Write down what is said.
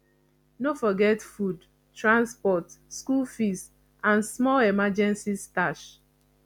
no forget food transport school fees and small emergency stash